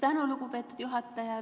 Tänan, lugupeetud juhataja!